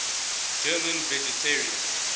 german vegetarians